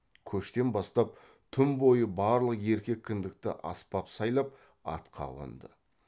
көштен бастап түн бойы барлық еркек кіндікті аспап сайлап атқа қонды